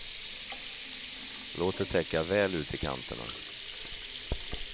Låt det täcka väl ut i kanterna.